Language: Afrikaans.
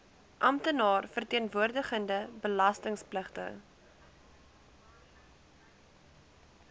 amptenaar verteenwoordigende belastingpligtige